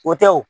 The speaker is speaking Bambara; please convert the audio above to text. O tɛ wo